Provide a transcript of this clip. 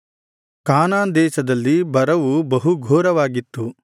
ಕಾನಾನ್ ದೇಶದಲ್ಲಿ ಬರವು ಬಹು ಘೋರವಾಗಿತ್ತು